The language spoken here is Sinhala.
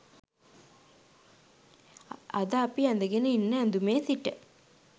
අද අපි ඇඳගන ඉන්න ඇඳුමේ සිට